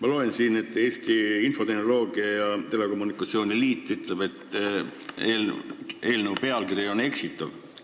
Ma loen siin, et Eesti Infotehnoloogia ja Telekommunikatsiooni Liit ütleb: eelnõu pealkiri on eksitav.